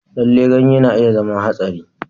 Lallai, ganye na iya zama haɗari.